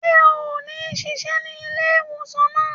Ṣe o ni ṣiṣẹ ní ilé-ìwòsàn náà?